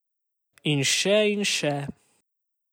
In še in še...